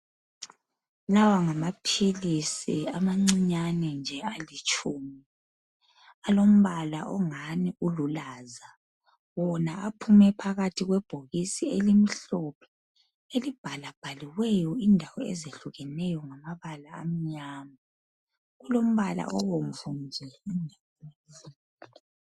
Lawa ngamaphilisi ama ncinyane alitshumi alombala ongani ululaza wona aphume phakathi kwebhokisi elimhlophe elibhalabhaliweyo indawo ezehlukeneyo ngamabala amnyama, kulombala obumvu nje.